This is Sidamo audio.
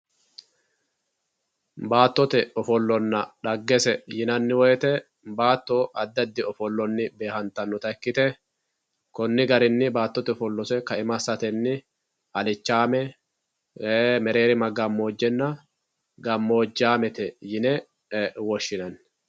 Baattote ofollonna dhaggese yinanni woyte baatto addi addi ofolloni beehattanotta ikkite koni garini baattote kaima assateni alichame mereerima gamojenna gamojamete yine woshshinanni.